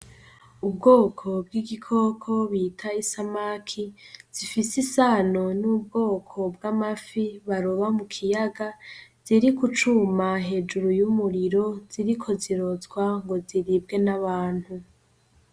Ubwoko bw'igikoko bita i samaki zifise isano n'ubwoko bw'amafi baroba mu kiyaga ziri gucuma hejuru y'umuriro ziri ko zirozwa ngo ziribwe n'abantu.